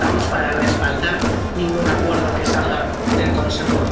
No estamos para respaldar ningún acuerdo que salga del Consejo.